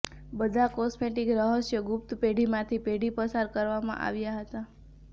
બધા કોસ્મેટિક રહસ્યો ગુપ્ત પેઢી માંથી પેઢી પસાર કરવામાં આવ્યા હતા